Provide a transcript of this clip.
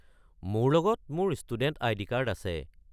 মোৰ লগত মোৰ ষ্টুডেণ্ট আইডি কাৰ্ড আছে।